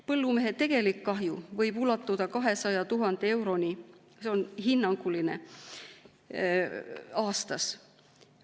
Põllumehe tegelik kahju võib ulatuda 200 000 euroni – see on hinnanguline – aastas.